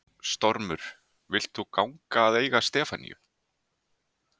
Stormur, vilt þú ganga að eiga Stefaníu?